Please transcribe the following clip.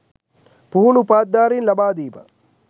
පුහුණු උපාධිධාරීන් ලබා දීම